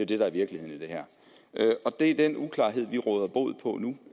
det der er virkeligheden i det her det er den uklarhed vi råder bod på nu